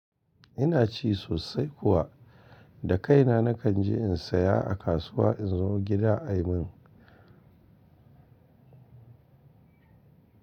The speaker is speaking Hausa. Ina ci sosai kuwa, da kaina nakan je in saya a kasuwa in zo gida a yi min.